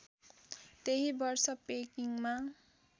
त्यही वर्ष पेकिङमा